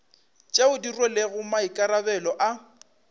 tšeo di rwelego maikarabelo a